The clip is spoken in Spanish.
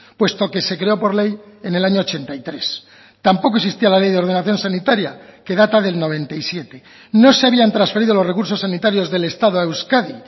puesto que se creó por ley en el año ochenta y tres tampoco existía la ley de ordenación sanitaria que data del noventa y siete no se habían transferido los recursos sanitarios del estado a euskadi